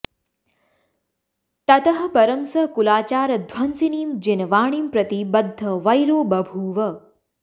ततः परं स कुलाचारध्वंसिनीं जिनवाणीं प्रति बद्धवैरो बभूव